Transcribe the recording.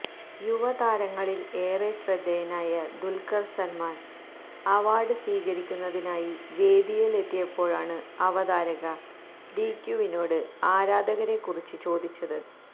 യുവതാരങ്ങളില് ഏറെ ശ്രദ്ധേയനായ ദുല്ഖര് സല്മാന് അവാര്ഡ് സ്വീകരിക്കുന്നതിനായി വേദിയിലെത്തിയപ്പോഴാണ് അവതാരക ഡിക്യവിനോട് ആരാധകരെക്കുറിച്ച് ചോദിച്ചത്